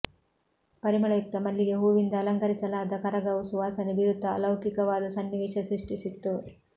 ಪರಿಮಳಯುಕ್ತ ಮಲ್ಲಿಗೆ ಹೂವಿಂದ ಅಲಂಕರಿಸಲಾದ ಕರಗವು ಸುವಾಸನೆ ಬೀರುತ್ತ ಅಲೌಕಿಕವಾದ ಸನ್ನಿವೇಶ ಸೃಷ್ಟಿಸಿತ್ತು